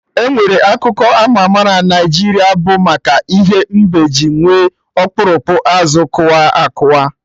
Enwere akụkọ ama ama na obodo Naijiria bụ maka ihe mbe ji nwee okpurukpu azụ kụwa akụwa